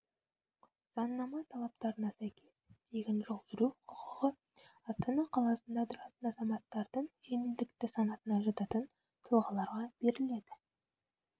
заңнама талаптарына сәйкес тегін жол жүру құқығы астана қаласында тұратын азаматтардың жеңілдікті санатына жататын тұлғаларға беріледі